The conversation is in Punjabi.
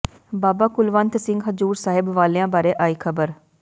ਬਾਬਾ ਕੁਲਵੰਤ ਸਿੰਘ ਹਜ਼ੂਰ ਸਾਹਿਬ ਵਾਲਿਆਂ ਬਾਰੇ ਆਈ ਖਬਰ